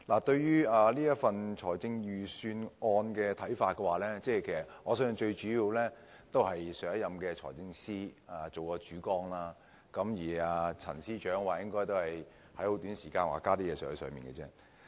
關於這份財政預算案，我相信主要是上任財政司司長訂下了主綱，而陳司長則應該是在很短時間內增加了一些內容。